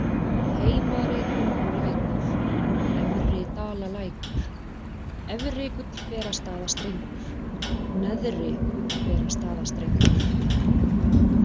Heimari-Tungulækur, Efridalalækur, Efri-Gullberastaðastrengur, Neðri-Gullberastaðastrengur